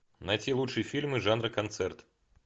найти лучшие фильмы жанра концерт